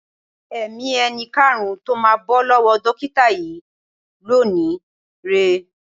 Ẹ̀mí ẹni karùn-ún tó máa bọ́ lọ́wọ́ dókíta yìí lónìí rè é.